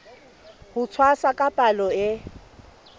ho tshwasa ka palo e